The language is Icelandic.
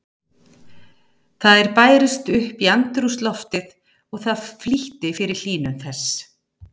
Þær bærust upp í andrúmsloftið og það flýtti fyrir hlýnun þess.